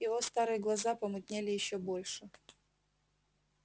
её старые глаза помутнели ещё больше